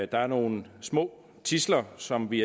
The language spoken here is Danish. der er nogle små tidsler som vi